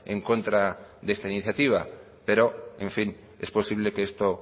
en contra de esta iniciativa pero en fin es posible que esto